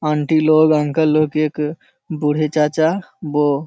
aunty लोग uncle लोग एक बूढ़े चाचा वो --